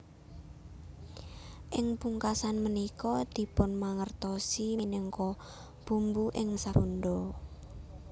Ing pungkasan punika dipunmangertosi minangka bumbu ing masakan Sunda